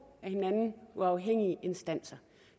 af hinanden uafhængige instanser